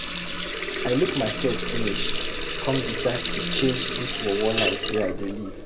I look mysef finish come decide to change dis worwor life wey I dey live.